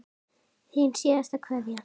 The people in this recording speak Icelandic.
Þín síðasta kveðja.